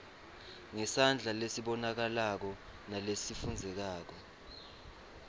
ngesandla lesibonakalako nalesifundzekako